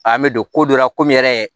An bɛ don ko dɔ la komi yɛrɛ